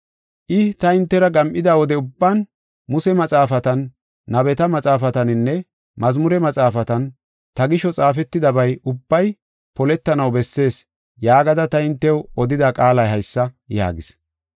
I, “Ta hintera gam7ida wode ubban Muse maxaafatan, nabeta maxaafataninne Mazmure maxaafatan, ta gisho xaafetidabay ubbay poletanaw bessees yaagada ta hintew odida qaalay haysa” yaagis.